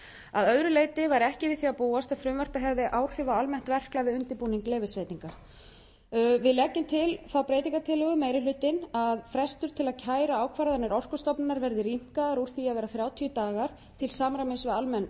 að öðru leyti væri ekki við því að búast að frumvarpið hefði áhrif á almennt verklag við undirbúning leyfisveitinga við leggjum til þá breytingartillögu meiri hlutinn að frestur til að kæra ákvarðanir orkustofnunar verði rýmkaður úr því að vera þrjátíu dagar til samræmis við almenn